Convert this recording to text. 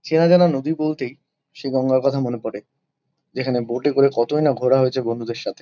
চেনাজানা নদী বলতেই সেই গঙ্গার কথা মনে পরে। যেখানে বোর্ড -এ করে কতই না ঘোরা হয়েছে বন্ধুদের সাথে--